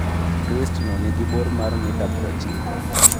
Twistno nigi bor mar mita prochiko.